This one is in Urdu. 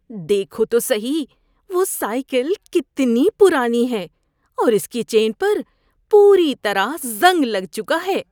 دیکھو تو سہی وہ سائیکل کتنی پرانی ہے اور اس کی چین پر پوری طرح زنگ لگ چکا ہے۔